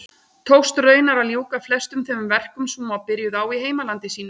Tókst raunar að ljúka flestum þeim verkum sem hún var byrjuð á í heimalandi sínu.